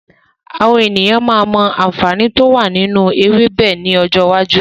Àwọn ènìyàn máa mọ àǹfààní to wá nínú ewébẹ̀ ni ọjọ́ iwájú.